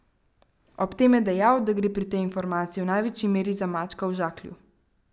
Ob tem je dejal, da gre pri tej informaciji v največji meri za mačka v žaklju.